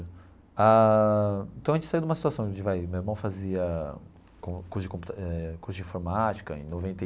Ah então, a gente saiu de uma situação de vai... Meu irmão fazia curso de compi eh curso de informática em noventa e.